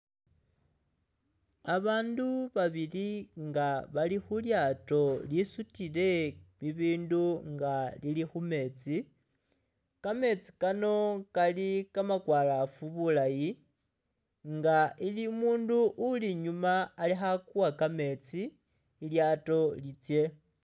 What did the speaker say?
Abaandu babili nga bali khu lyaato lisutile bibindu nga lili khu meetsi, kameetsi kano kali kamakwalaafu bulayi nga ilimu umuundu uli inyuuma akhakuwa kameetsi ilyaato litsye.